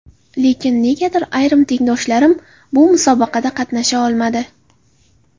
Lekin negadir, ayrim tengdoshlarim bu musobaqada qatnasha olmadi.